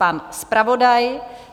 Pan zpravodaj.